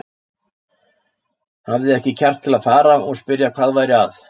Hafði ekki kjark til að fara og spyrja hvað væri að.